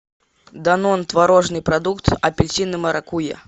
данон творожный продукт апельсин и маракуйя